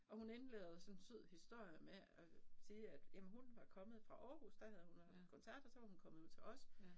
Og hun indleder jo sådan en sød historie med at sige at jamen hun var kommet fra Aarhus der havde hun haft koncert og så var hun kommet ud til os